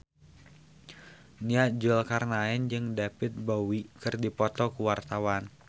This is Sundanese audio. Nia Zulkarnaen jeung David Bowie keur dipoto ku wartawan